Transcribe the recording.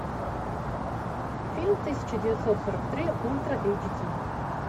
фильм тысяча девятьсот сорок три ультра эйч ди